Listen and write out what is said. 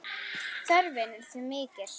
Þörfin er því mikil.